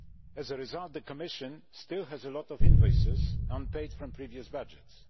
As a result, the Commission still has a lot of invoices unpaid from previous budgets.